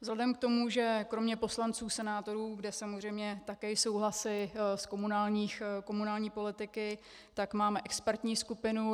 Vzhledem k tomu, že kromě poslanců, senátorů, kde samozřejmě také jsou hlasy z komunální politiky, tak máme expertní skupinu.